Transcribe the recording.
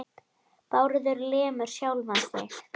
Bárður lemur sjálfan sig.